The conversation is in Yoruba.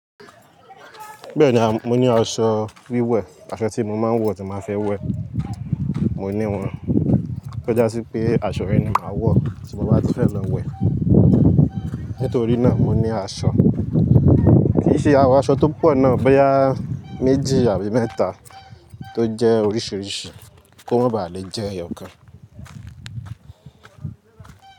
Bẹ́ẹ̀ni mo ní aṣọ wíwẹ̀, aṣọ tí mo máa ń wọ̀ tí máa fẹ́ wẹ̀, mo ní wọn. Kò jásí pé aṣọ rẹ ni màá wọ̀, ti mo bàá ti fẹ́ lọ wẹ̀. Nítorí náà mo ní aṣọ. Ki se, awon aṣọ tó pọ̀ náà bóyá méjì àbí mẹ́ta tó jẹ́ oríṣiríṣi kó mọ́ ba lè jẹ́ ẹyọkan.